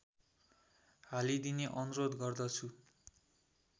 हालिदिने अनुरोध गर्दछु